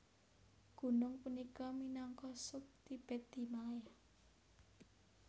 Gunung punika minangka sub Tibet Himalaya